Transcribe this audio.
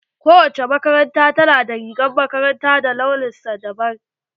Kowace makaranta ta na da rigar makaranta da launin sa dabam.